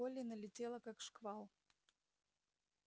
колли налетела как шквал